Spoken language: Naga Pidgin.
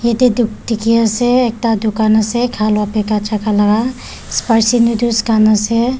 yate tup dekhi ase ekta dukan ase khalua beka jaka laga spicy noodles khan ase.